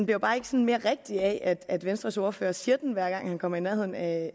jo bare ikke sådan mere rigtig af at venstres ordfører siger den hver gang han kommer i nærheden af